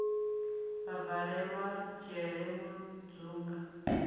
a valelwa dzhele mudzunga o